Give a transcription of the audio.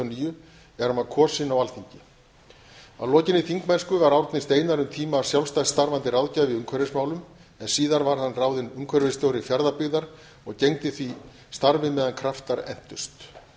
níu er hann var kosinn á alþingi að lokinni þingmennsku var árni steinar um tíma sjálfstætt starfandi ráðgjafi í umhverfismálum en síðar var hann ráðinn umhverfisstjóri fjarðabyggðar og gegndi því starfi meðan kraftar entust